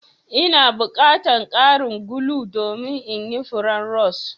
N'na bukatan karin gulu domin yin furen rose.